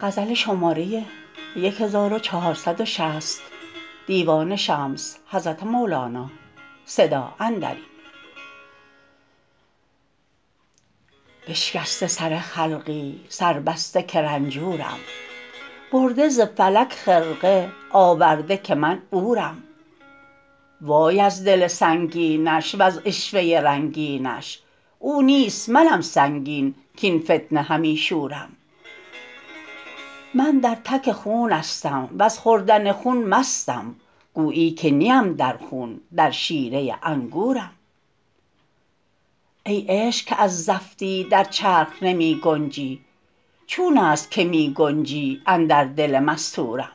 بشکسته سر خلقی سر بسته که رنجورم برده ز فلک خرقه آورده که من عورم وای از دل سنگینش وز عشوه رنگینش او نیست منم سنگین کاین فتنه همی شورم من در تک خونستم وز خوردن خون مستم گویی که نیم در خون در شیره انگورم ای عشق که از زفتی در چرخ نمی گنجی چون است که می گنجی اندر دل مستورم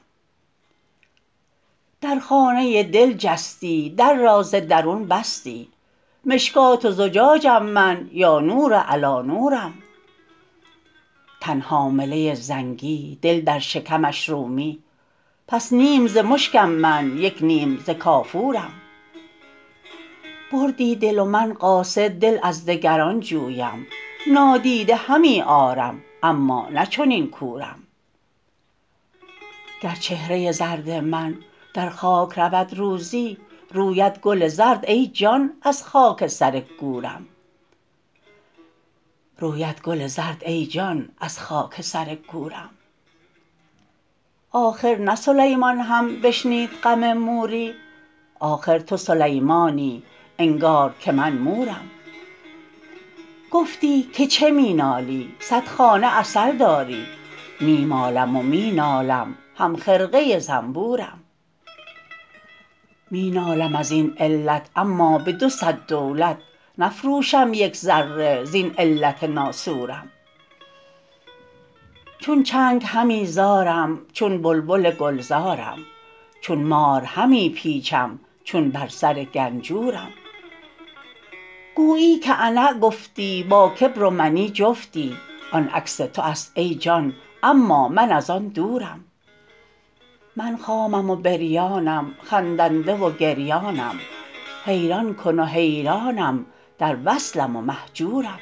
در خانه دل جستی در را ز درون بستی مشکات و زجاجم من یا نور علی نورم تن حامله زنگی دل در شکمش رومی پس نیم ز مشکم من یک نیم ز کافورم بردی دل و من قاصد دل از دگران جویم نادیده همی آرم اما نه چنین کورم گر چهره زرد من در خاک رود روزی روید گل زرد ای جان از خاک سر گورم آخر نه سلیمان هم بشنید غم موری آخر تو سلیمانی انگار که من مورم گفتی که چه می نالی صد خانه عسل داری می مالم و می نالم هم خرقه زنبورم می نالم از این علت اما به دو صد دولت نفروشم یک ذره زین علت ناسورم چون چنگ همی زارم چون بلبل گلزارم چون مار همی پیچم چون بر سر گنجورم گویی که انا گفتی با کبر و منی جفتی آن عکس تو است ای جان اما من از آن دورم من خامم و بریانم خندنده و گریانم حیران کن و حیرانم در وصلم و مهجورم